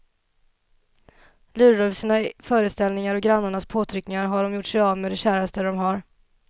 Lurade av sina föreställningar och grannarnas påtryckningar har de gjort sig av med det käraste de har.